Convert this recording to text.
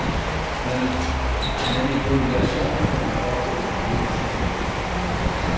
Manipulationerne har ofte et idéelt sigte.